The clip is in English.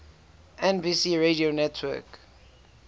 nbc radio network